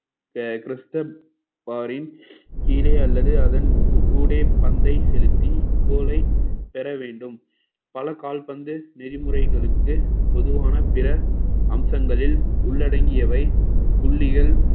கீழே அல்லது அதன் ஊ~ ஊடே பந்தை செலுத்தி கோலை பெற வேண்டும் பல கால்பந்து நெறிமுறைகளுக்கு பொதுவான பிற அம்சங்களில் உள்ளடங்கியவை புள்ளிகள்